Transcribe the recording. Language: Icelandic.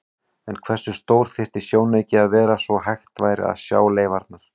En hversu stór þyrfti sjónauki að vera svo hægt væri að sjá leifarnar?